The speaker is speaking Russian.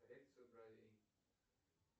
коррекцию бровей